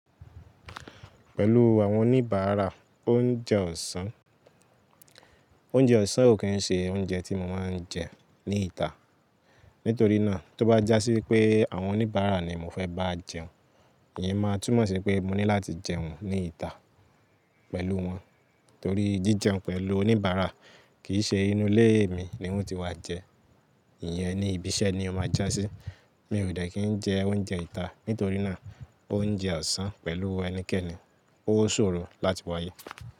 Pẹ̀lú àwọn oníbàárà oúnjẹ ọ̀sán, oúnjẹ ọ̀sán ò kí ń ṣe oúnjẹ tí mo máa ń jẹ ní ìta. Nítorí náà, tó bá jásí pé àwọn oníbàárà ni mo fẹ́ bá jẹun, ìyè máa túmọ̀ sí pé mo ní láti jẹun ní ìta pẹ̀lú wọn. Torí jíjẹun pẹ̀lú oníbàárà kì í ṣe inú ilé mi ni wọ́n ti wá jẹ, ìyẹn ni ìbíṣẹ́ ni ó máa jásí. Mi ò de ki n jẹ oúnjẹ ìta, nítorí náà oúnjẹ ọ̀sán pẹ̀lú ẹnikẹ́ni, ó ṣòro láti wáyé.